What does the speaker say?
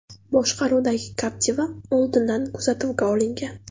boshqaruvidagi Captiva oldindan kuzatuvga olingan.